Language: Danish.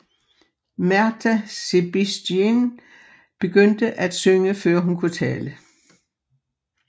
Márta Sebestyén begyndte at synge før hun kunne tale